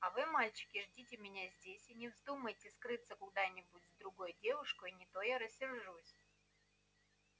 а вы мальчики ждите меня здесь и не вздумайте скрыться куда-нибудь с другой девушкой не то я рассержусь